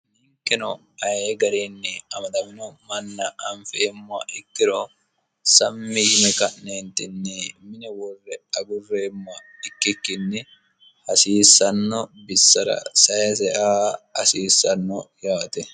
ninkino aye gariinni amadamino manna anfemmoha ikkiro sammi yine ka'neenitinni mine worre agurreemmoha ikkikkinni hasiissanno bissara sayse aa hasiissanno yaate